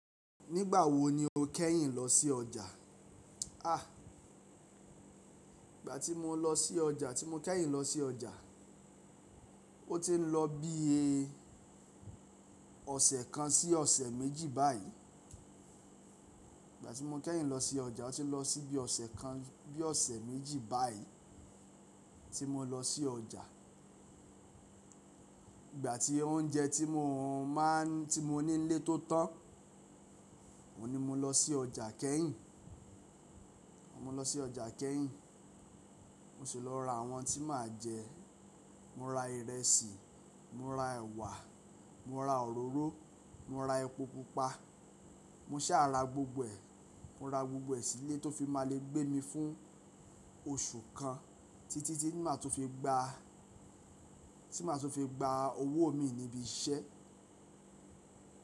Nígbà wo ni o kẹ́yìn lọ sí ọjà? À, ìgbà tí mo lọ sí ọjà, tí mo kẹ́yìn lọ sí ọjà, ó ti ń lọ bí i ọ̀sẹ̀ kan sí ọ̀sẹ̀ méjì báyìí. Ìgbà tí mo kẹ́yìn lọ sí ọjà, ó ti ń lọ sí bí ọ̀sẹ̀ kan bí ọ̀sẹ̀ méjì báyìí tí mo lọ sí ọjà. Ìgbà tí oúnjẹ tí mo máa ń, tí mo ní nílé tó tán, òun ní mo lọ sí ọjà kẹ́yìn. Mo lọ sí ọjà kẹ́yìn. Mo sì lọ ra àwọn tí màá jẹ. Mo ra ìrẹsì, mo ra ẹ̀wà, mo ra òróró, mo ra epo pupa. Mo sá ra gbogbo ẹ̀. Mo ra gbogbo ẹ̀ sílé tó fi máa le gbé mi fún oṣù kan títí tí màá tó fi gba, tí màá tó fi gba owó mi níbi iṣẹ́.